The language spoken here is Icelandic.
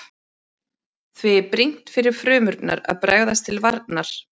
Því er brýnt fyrir frumurnar að bregðast til varnar.